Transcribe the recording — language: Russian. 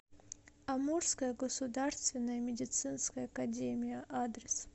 амурская государственная медицинская академия адрес